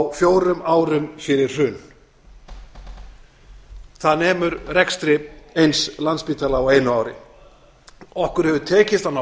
á fjórum árum fyrir hrun það nemur rekstri eins landspítala á einu ári okkur hefur tekist á ná